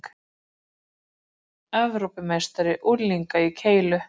Arnar Evrópumeistari unglinga í keilu